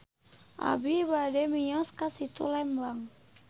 Abi bade mios ka Situ Lembang